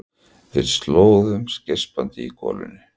Við slöguðum geispandi í golunni.